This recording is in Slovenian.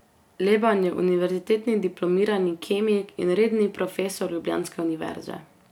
Leban je univerzitetni diplomirani kemik in redni profesor ljubljanske univerze.